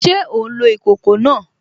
Ṣé ó n lo ìkòkò náà?